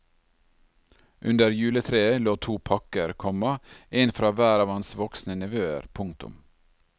Under juletreet lå to pakker, komma en fra hver av hans voksne nevøer. punktum